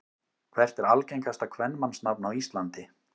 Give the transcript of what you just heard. Hvert er algengasta kvenmannsnafn á Íslandi?